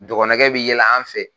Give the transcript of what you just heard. Dɔgɔnɔkɛ bɛ yɛlɛ an fɛ